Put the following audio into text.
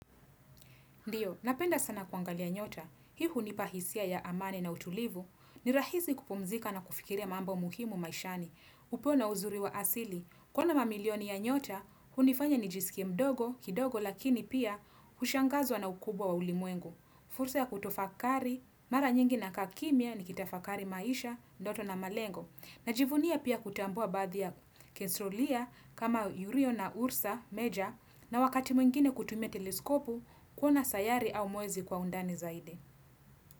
Ndio, napenda sana kuangalia nyota. Hii unipahisia ya amani na utulivu. Ni rahisi kupumzika na kufikiria mambo muhimu maishani. Upo na uzuri wa asili. Kuona mamilioni ya nyota, hunifanya ni jisikiame mdogo, kidogo, lakini pia ushangazwa na ukubwa wa ulimwengu. Fursa ya kutofakari, mara nyingi na kaa kimia nikitafakari maisha, ndoto na malengo. Najivunia pia kutambua badhi ya kensrolia kama urio na ursa, meja, na wakati mwingine kutumia teleskopu, kuona sayari au mwezi kwa undani zaidi.